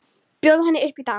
Bjóða henni upp í dans!